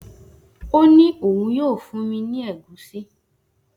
O ni oun yoo fun mi ni egusi.